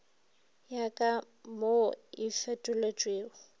ya ka mo e fetotšwego